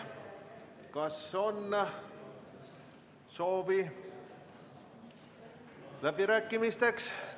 Kas on soovi läbirääkimisteks?